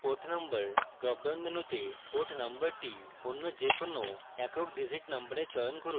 com port number dropdown মেনুতে port নম্বরটি any যে কোনো এককdigit number চয়ন করুন